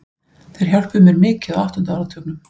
Þeir hjálpuðu mér mikið á áttunda áratugnum.